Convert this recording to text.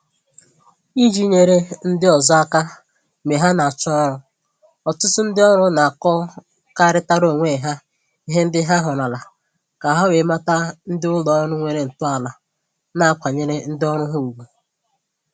Iji nyere ndị ọzọ aka mgbe ha na-achọ ọrụ, ọtụtụ ndị ọrụ na-akọkarịtara onwe ha ihe ndị ha hụrụla, ka ha wee mata ndị ụlọ ọrụ nwere ntọala na-akwanyere ndị ọrụ ha ugwu